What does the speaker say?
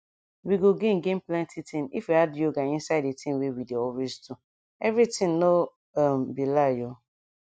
we go gain gain plenty thing if we add yoga inside the thing wey we dey always do everything nor um be lie o